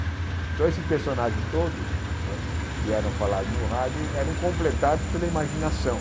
Então, esses personagens todos não é que eram falados no rádio eram completados pela imaginação.